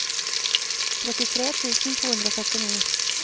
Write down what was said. trettitre tusen to hundre og syttini